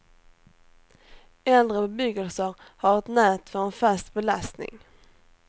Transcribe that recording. Äldre bebyggelse har ett nät för en fast belastning.